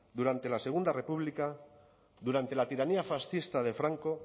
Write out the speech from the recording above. durante la segundo república durante la tiranía fascista de franco